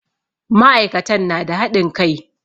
Ma'aikatan na da haɗin kai.